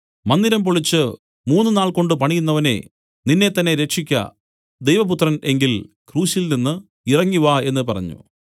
മന്ദിരം പൊളിച്ച് മൂന്നുനാൾകൊണ്ടു പണിയുന്നവനേ നിന്നെത്തന്നെ രക്ഷിയ്ക്ക ദൈവപുത്രൻ എങ്കിൽ ക്രൂശിൽ നിന്നു ഇറങ്ങിവാ എന്നു പറഞ്ഞു